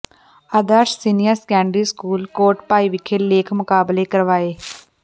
ਆਦਰਸ਼ senior secondary school Kotbhai ਵਿਖੇ ਲੇਖ ਮੁਕਾਬਲੇ ਕਰਵਾਏ